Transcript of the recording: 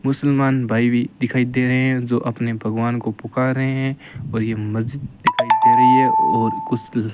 मुसलमान भाई भीं दिखाई दे रहें हैं जो अपने भगवान को पुकार रहें हैं और ये मस्जिद दिखाई दे रहीं हैं और कुछ ल --